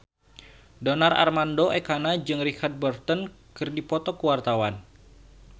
Donar Armando Ekana jeung Richard Burton keur dipoto ku wartawan